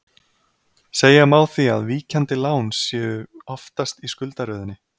Segja má því að víkjandi lán séu aftast í skuldaröðinni.